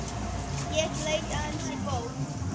Ég leit aðeins í bók.